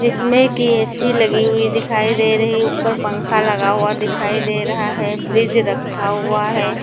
इसमें की ए_सी लगी हुई दिखाई दे रही हैं ऊपर पंखा लगा हुआ दिखाई दे रहा हैं फ्रिज रखा हुआ हैं।